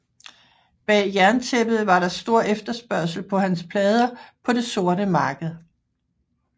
Bag jerntæppet var der stor efterspørgsel på hans plader på det sorte marked